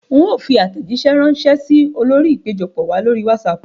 Ń ó fi àtẹ̀jísẹ́ rànsẹ́ sì ọ lórí ìpéjọpọ̀ wá lórí wásààpù